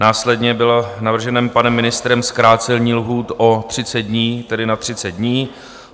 Následně bylo navrženo panem ministrem zkrácení lhůt o 30 dní, tedy na 30 dní.